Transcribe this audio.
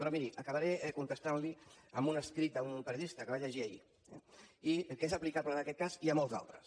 però miri acabaré contestant li amb un escrit d’un periodista que vaig llegir ahir que és aplicable a aquest cas i a molt altres